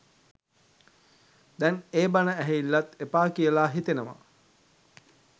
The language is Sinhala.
දැන් ඒ බණ ඇහිල්ලත් එපා කියලා හිතෙනවා